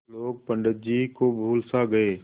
लोग पंडित जी को भूल सा गये